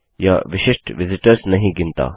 यह विशिष्ट विजिटर्स नहीं गिनता